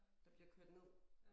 Der bliver kørt ned